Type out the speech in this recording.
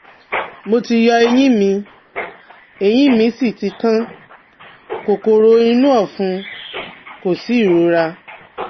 Mo ti yọ eyín mi, eyín míì sì ti kan, kòkòrò inú ọ̀fun, kò sí ìrora